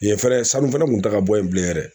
Yen fɛnɛ sanu fana kun ta ka bɔ yen bilen yɛrɛ